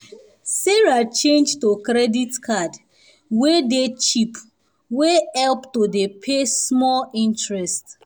sarah change to credit card wey dey cheap wey help to dey pay small interest